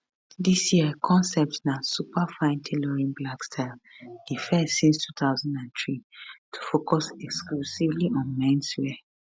dis year concept na superfine tailoring black style di first since 2003 to focus exclusively on menswear